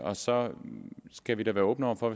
og så skal vi da være åbne over for